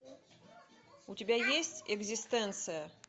у тебя есть экзистенция